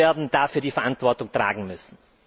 Sie werden dafür die Verantwortung tragen müssen!